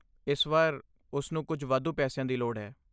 ਇਸ ਵਾਰ, ਉਸ ਨੂੰ ਕੁਝ ਵਾਧੂ ਪੈਸਿਆਂ ਦੀ ਲੋੜ ਹੈ।